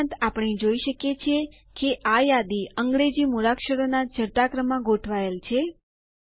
તે ઉપરાંત આપણે જોઈ શકીએ છીએ કે આ યાદી અંગ્રેજી મૂળાક્ષરોનાં ચઢતા ક્રમમાં ગોઠવાયેલ છે